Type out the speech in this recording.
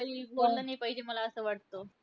काही बोललं नाही पाहिजे, मला असं वाटतं.